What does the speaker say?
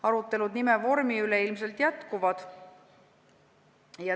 Arutelud nime vormi üle ilmselt jätkuvad.